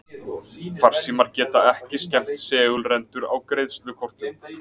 Farsímar geta ekki skemmt segulrendur á greiðslukortum.